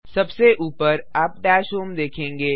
सबसे ऊपर आप डैशहोम देखेंगे